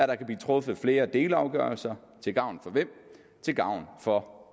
der kan blive truffet flere delafgørelser til gavn for